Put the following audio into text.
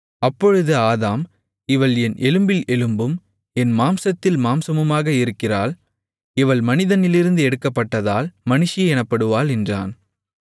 அப்பொழுது ஆதாம் இவள் என் எலும்பில் எலும்பும் என் மாம்சத்தில் மாம்சமுமாக இருக்கிறாள் இவள் மனிதனிலிருந்து எடுக்கப்பட்டதால் மனுஷி எனப்படுவாள் என்றான்